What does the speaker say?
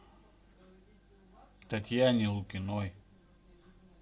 татьяне лукиной